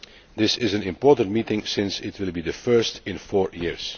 This is an important meeting, since it will be the first in four years.